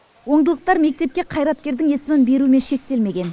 оңдылықтар мектепке қайреткердің есімін берумен шектелмеген